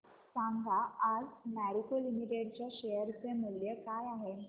सांगा आज मॅरिको लिमिटेड च्या शेअर चे मूल्य काय आहे